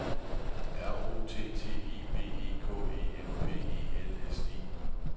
R O T T E B E K Æ M P E L S E